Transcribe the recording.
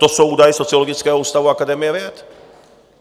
To jsou údaje Sociologického ústavu Akademie věd.